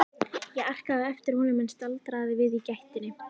Ég arkaði á eftir honum en staldraði við í gættinni.